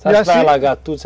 Você acha que vai alagar tudo?